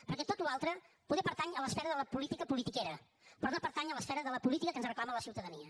perquè tota la resta poder pertany a l’esfera de la política politiquera però no pertany a l’esfera de la política que ens reclama la ciutadania